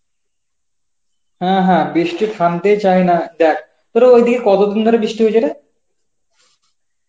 হ্যাঁ হ্যাঁ বৃষ্টি থামতেই চায় না দেখ, তোর ওইদিকে কত দিন ধরে বৃষ্টি হইছে রে?